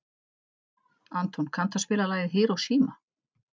Anton, kanntu að spila lagið „Hiroshima“?